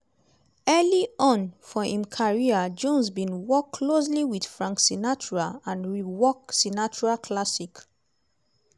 early on for im career jones bin work closely wit frank sinatra and re-work sinatra classic